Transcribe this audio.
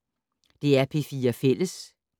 DR P4 Fælles